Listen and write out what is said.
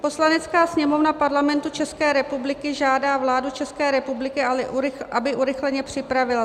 "Poslanecká sněmovna Parlamentu České republiky žádá vládu České republiky, aby urychleně připravila